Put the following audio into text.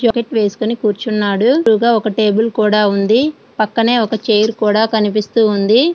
Jacket వేసుకొని కూర్చున్నాడు ఒక టేబుల్ కూడా ఉంది.పక్కనే ఒక చైర్ కూడా కనిపిస్తూ ఉంది.